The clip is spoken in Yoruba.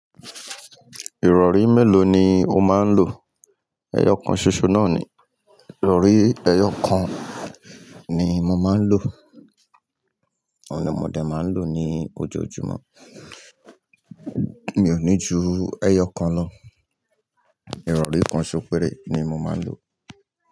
Ìrọ̀rí mélòó ni o máa ń lò? Ẹyọ kan ṣoṣo náà ni, ìrọ̀rí ẹyọ kan ni mo máa ń lò. Òun ni mo dé máa ń lò ní ojoojúmọ́. Mi ò ní ju ẹyọ kan lọ. Ìrọ̀rí kan ṣó péré ni mo máa ń lò.